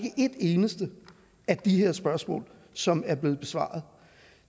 eneste af de her spørgsmål som er blevet besvaret